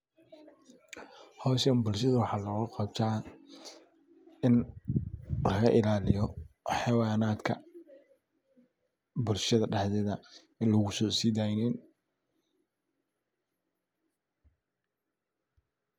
Howshaan bulshada waxa logaqabta inii lagailaliyo xawayandka bbulshada dhexdeda lugusodeynin.